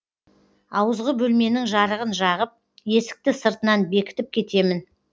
ауызғы бөлменің жарығын жағып есікті сыртынан бекітіп кетемін